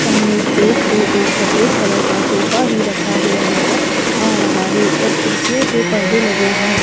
सामने स्टेज पे एक सफेद कलर का सोफा भी रखा हुआ नजर आ रहा है और खिड़कियों पे परदे लगे हैं।